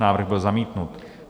Návrh byl zamítnut.